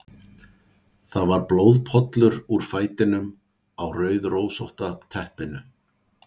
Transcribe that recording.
Það var blóðpollur úr fætinum á rauðrósótta teppinu.